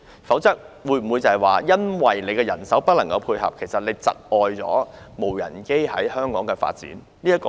否則，會否因為沒有人手配合而窒礙無人機在香港的發展？